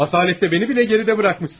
Asalətdə məni belə geridə qoymusan.